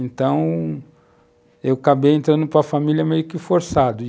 Então, eu acabei entrando para família meio que forçado.